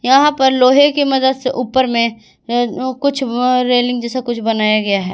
वहां पर लोहे की मदद से ऊपर में कुछ रेलिंग जैसा कुछ बनाया गया है।